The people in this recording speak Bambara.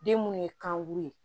Den munnu ye kan buru ye